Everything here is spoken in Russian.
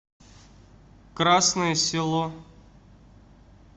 красное село